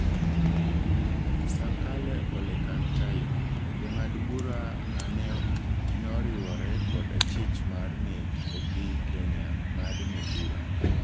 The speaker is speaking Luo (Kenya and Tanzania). Sankale Ole Kantai:Jang'ad bura aneoriwore kod achich mar nek e piny Kenya ong'adne bura.